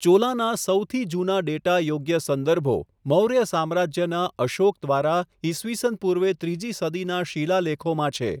ચોલાનાં સૌથી જૂના ડેટા યોગ્ય સંદર્ભો મૌર્ય સામ્રાજ્યનાં અશોક દ્વારા ઈસવીસન પૂર્વે ત્રીજી સદીનાં શિલાલેખોમાં છે.